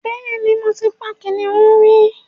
Bẹ́ẹ̀ ni, mo ti pa kìnnìún rí